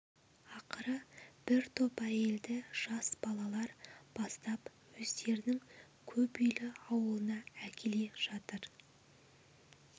ақыры бір топ әйелді жас балалар бастап өздерінің көп үйлі ауылына әкеле жатыр